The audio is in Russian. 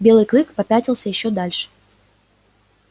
белый клык попятился ещё дальше